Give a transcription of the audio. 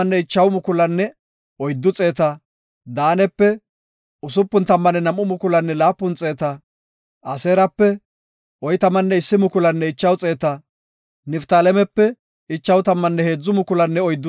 Oletanaw danda7iya adde ubbay, laatamu laythinne iyape bolla gidida asay banta soo asan asan taybetidosona.